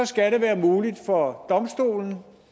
skal det være muligt for domstolen